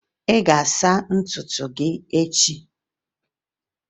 Ị ga-asa ntutu gị echi!